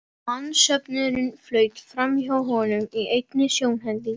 Mannsöfnuðurinn flaut framhjá honum í einni sjónhending.